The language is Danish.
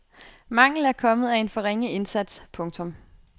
Mangel er kommet af en for ringe indsats. punktum